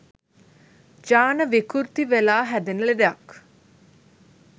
ජාන විකෘති වෙලා හැදෙන ලෙඩක්.